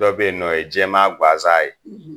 Dɔw bɛ yen nɔ, o ye jɛman gansan ye.